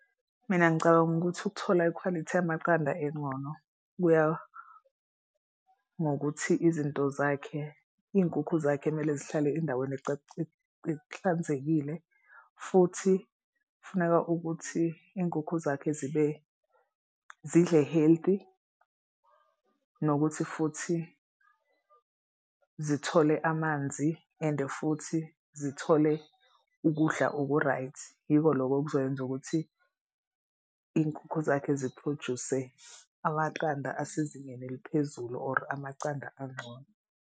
Mina ngicabanga ukuthi ukuthola ikhwalithi yamaqanda engcono kuya ngokuthi izinto zakhe iy'nkukhu zakhe kumele zihlale endaweni ehlanzekile futhi kufuneka ukuthi iy'nkukhu zakhe zidle healthy. Nokuthi futhi zithole amanzi ende futhi zithole ukudla oku-right. Yiko loko okuzokwenza ukuthi iy'nkukhu zakhe ziphroduse amaqanda asezingeni eliphezulu or amacanda angcono.